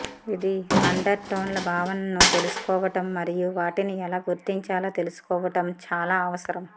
ఇది అండర్ టోన్ల భావనను తెలుసుకోవడం మరియు వాటిని ఎలా గుర్తించాలో తెలుసుకోవడం చాలా అవసరం